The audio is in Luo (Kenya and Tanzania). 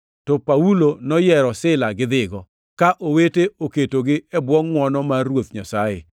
to Paulo noyiero Sila gidhigo, ka owete oketogi e bwo ngʼwono mar Ruoth Nyasaye.